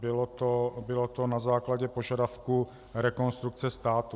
Bylo to na základě požadavku Rekonstrukce státu.